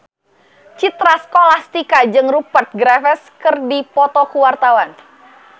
Citra Scholastika jeung Rupert Graves keur dipoto ku wartawan